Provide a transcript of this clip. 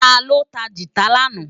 Táló tá gitá làná?